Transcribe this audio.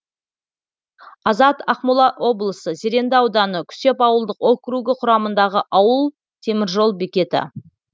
азат ақмола облысы зеренді ауданы күсеп ауылдық округі құрамындағы ауыл темір жол бекеті